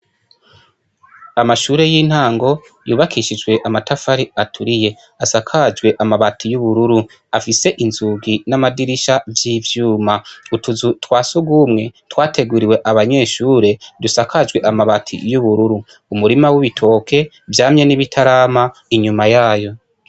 Amashure y'intango yubakishijwe amatafari aturiye. Asakajwe amabati y'ubururu, afise inzugi n'amadirisha vy'ivyuma. Utuzu twa sugumwe twateguriwe abanyeshure dusakajwe amabati y'ubururu. Umurima w'ibitoke vyamye n'ibitarama inyuma yayo.